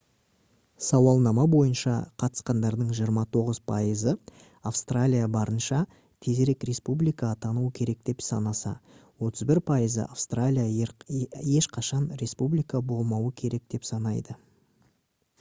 сауалнама бойынша қатысқандардың 29 пайызы австралия барынша тезірек республика атануы керек деп санаса 31 пайызы австралия ешқашан республика болмауы керек деп санайды